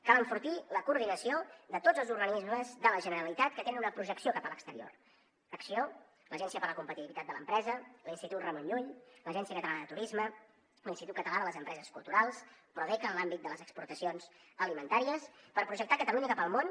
cal enfortir la coordinació de tots els organismes de la generalitat que tenen una projecció cap a l’exterior acció l’agència per a la competitivitat de l’empresa l’institut ramon llull l’agència catalana de turisme l’institut català de les empreses culturals prodeca en l’àmbit de les exportacions alimentàries per projectar catalunya cap al món